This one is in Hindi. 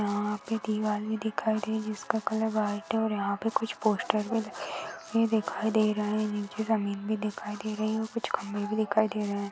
यहा पे दिवार भी दिखाई दे रही है जिसका कलर व्हाइट है और यहा पे कुछ पोस्टर भी दिखाई दिखाई दे रहे है नीचे जमीन भी दिखाई दे रही है और कुछ खंबे भी दिखाई दे रहे है।